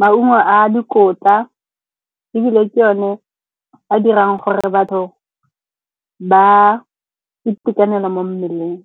maungo a dikotla. Ebile ke o ne a dirang gore batho ba itekanele mo mmeleng.